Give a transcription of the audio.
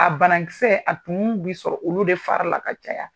A banakisɛ a tun bi sɔrɔ olu de fari la ka caya.